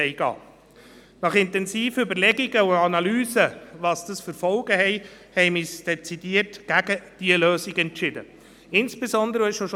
Vielleicht noch ein letzter Satz: All diejenigen, die zuvor gesagt haben, dass unser Personal wahnsinnig luxuriös gehalten werde, bitte ich doch, ein bisschen genauer hinzusehen.